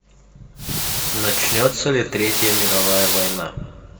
начнется ли третья мировая война